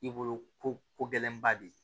I bolo ko gɛlɛnba de ye